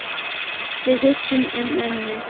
Við hugsum um mömmu.